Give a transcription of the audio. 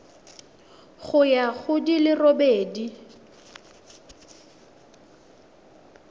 ya go di le robedi